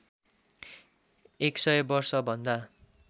१ सय वर्षभन्दा